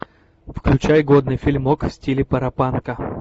включай годный фильмок в стиле паропанка